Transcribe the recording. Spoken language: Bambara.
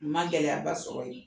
N ma gɛlɛya ba sɔrɔ o la